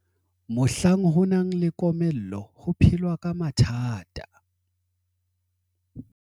mohlang ho nang le komello ho phelwa ka mathata